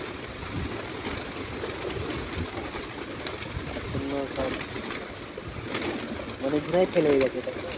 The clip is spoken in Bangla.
সেটাই তার জন্য সব অনেকজনেই fail হয়ে গেছে তাই তো?